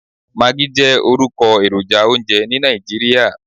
Maggi jẹ́ orúkọ èròjà oúnjẹ ní Nàìjíríà.